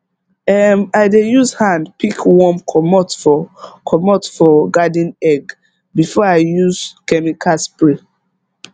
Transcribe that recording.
um i dey use hand pick worm comot for comot for garden egg before i use chemical spray